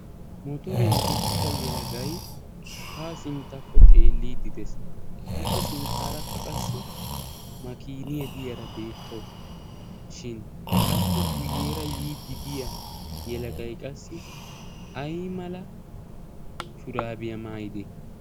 Motoriyan uttida yelagay haa sinttakko xeelliidi des. Appe sinttaarakka qassi makiiniya diyaara beetawus. Shin appe guyeera yiiddi diya yelagay qassi ayimala shuraabiya maayidee?